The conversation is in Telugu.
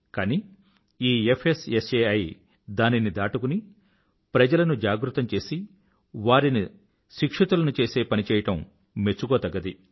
కానీ ఈ ఫ్స్సాయి దానిని దాటుకుని ప్రజలను జాగృతం చేసి వారిని శిక్షితులను చేసే పని చేయడం మెచ్చుకోదగ్గది